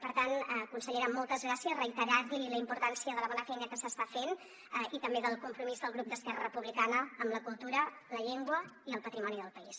per tant consellera moltes gràcies reiterar li la importància de la bona feina que s’està fent i també del compromís del grup d’esquerra republicana amb la cultura la llengua i el patrimoni del país